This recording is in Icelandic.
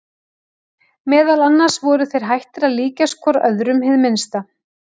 Meðal annars voru þeir hættir að líkjast hvor öðrum hið minnsta.